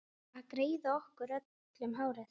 Að greiða okkur öllum hárið.